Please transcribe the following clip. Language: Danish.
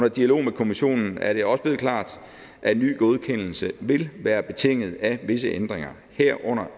i dialoger med kommissionen er det også blevet klart at en ny godkendelse vil være betinget af visse ændringer herunder